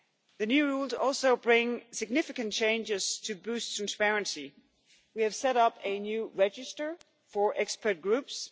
The new rules also bring significant changes to boost transparency. We have set up a new register for expert groups.